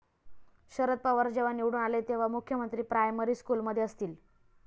शरद पवार जेव्हा निवडून आले तेव्हा मुख्यमंत्री प्रायमरी स्कूलमध्ये असतील'